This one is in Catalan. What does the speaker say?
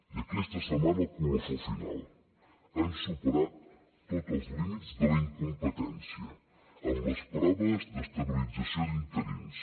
i aquesta setmana el colofó final han superat tots els límits de la incompetència amb les proves d’estabilització d’interins